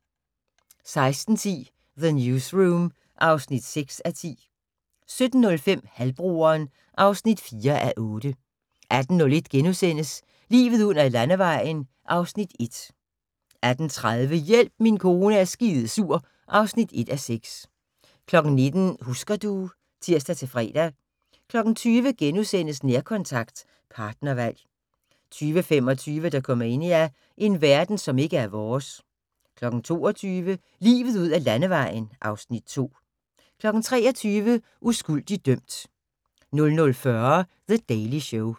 16:10: The Newsroom (6:10) 17:05: Halvbroderen (4:8) 18:01: Livet ud ad landevejen (Afs. 1)* 18:30: Hjælp min kone er skidesur (1:6) 19:00: Husker du ... (tir-fre) 20:00: Nærkontakt – partnervalg * 20:25: Dokumania: En verden som ikke er vores 22:00: Livet ud ad Landevejen (Afs. 2) 23:00: Uskyldig dømt 00:40: The Daily Show